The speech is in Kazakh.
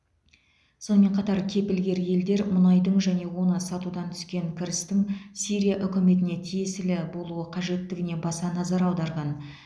сонымен қатар кепілгер елдер мұнайдың және оны сатудан түскен кірістің сирия үкіметіне тиесілі болуы қажеттігіне баса назар аударған